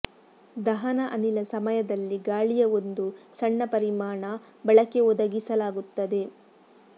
ದಹನ ಅನಿಲ ಸಮಯದಲ್ಲಿ ಗಾಳಿಯ ಒಂದು ಸಣ್ಣ ಪರಿಮಾಣ ಬಳಕೆ ಒದಗಿಸಲಾಗುತ್ತದೆ